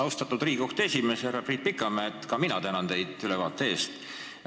Austatud Riigikohtu esimees härra Priit Pikamäe, ka mina tänan teid ülevaate eest!